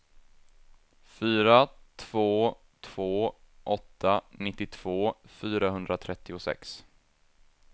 fyra två två åtta nittiotvå fyrahundratrettiosex